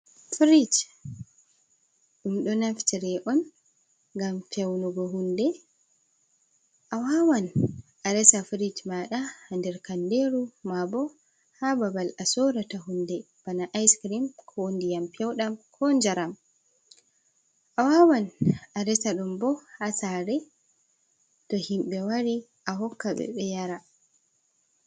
Frij ɗum ɗo naftire on ngam feunugo hunde, a wawan a resa frij maɗa ha nder kanderu ma bo ha babal a sorata hunde bana ice crem, ko ndiyam feudam, ko njaram a wawan a resa ɗum bo ha sare to himɓe wari a hokka ɓe be yara.